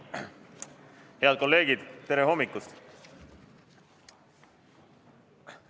Head kolleegid, tere hommikust!